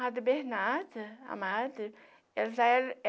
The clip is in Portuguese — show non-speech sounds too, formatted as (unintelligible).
Madre Bernarda, a madre. (unintelligible)